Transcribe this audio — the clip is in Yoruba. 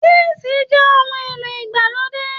Tísìì jẹ ohun èlò ìgbàlódé.